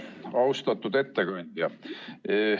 Austatud ettekandja!